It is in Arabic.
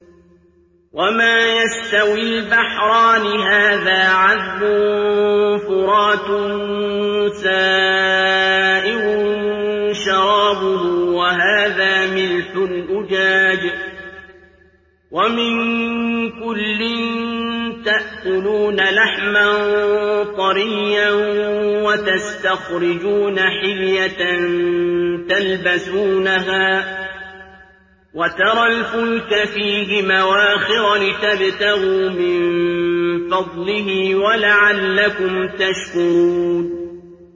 وَمَا يَسْتَوِي الْبَحْرَانِ هَٰذَا عَذْبٌ فُرَاتٌ سَائِغٌ شَرَابُهُ وَهَٰذَا مِلْحٌ أُجَاجٌ ۖ وَمِن كُلٍّ تَأْكُلُونَ لَحْمًا طَرِيًّا وَتَسْتَخْرِجُونَ حِلْيَةً تَلْبَسُونَهَا ۖ وَتَرَى الْفُلْكَ فِيهِ مَوَاخِرَ لِتَبْتَغُوا مِن فَضْلِهِ وَلَعَلَّكُمْ تَشْكُرُونَ